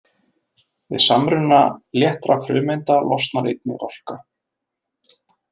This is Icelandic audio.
Við samruna léttra frumeinda losnar einnig orka.